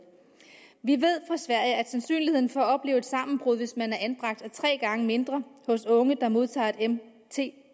vi ved at sandsynligheden for at opleve sammenbrud hvis man er anbragt er tre gange mindre hos unge der modtager